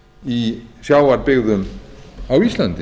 í sjávarbyggðum á íslandi